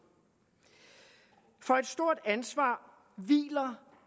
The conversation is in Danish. for et stort ansvar hviler